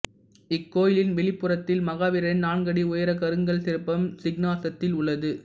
இக்கோயிலின் வெளிப்புறத்தில் மகாவீரின் நான்கு அடி உயர கருங்கல் சிற்பம் சிங்காசனத்தில் உள்ளது